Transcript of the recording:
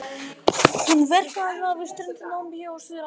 Hún verpir aðallega við strendur Namibíu og Suður-Afríku.